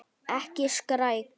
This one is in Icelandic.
Ekki skræk.